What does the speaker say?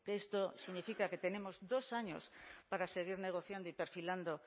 esto significa que tenemos dos años para seguir negociando y perfilando